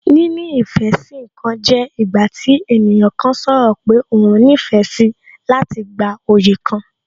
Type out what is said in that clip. Níní ìfẹ́ sí ǹkan jẹ́ ìgbà tí ènìyàn kan sọ̀rọ̀ pé òhun nífẹ̀ẹ́ síi láti gba oyè kan